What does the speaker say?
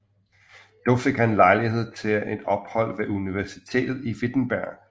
Dog fik han lejlighed til et ophold ved universitetet i Wittenberg